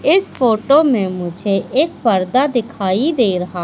इस फोटो में मुझे एक पर्दा दिखाई दे रहा--